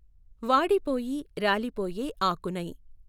వాడిపోయి రాలిపోయే ఆకునై